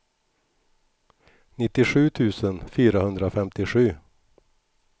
nittiosju tusen fyrahundrafemtiosju